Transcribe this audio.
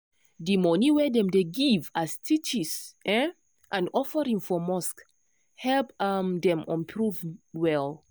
d moni wey dem dey give as tithes um and offering for mosque help um dem improve well